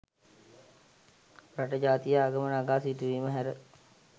රට ජාතිය ආගම නගා සිටුවීම හැර